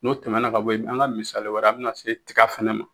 N'o tɛmɛna ka bɔ yen, an ka misali wɛrɛ an bɛna se tiga fɛnɛ ma.